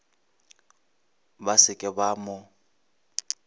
ba se ke ba mo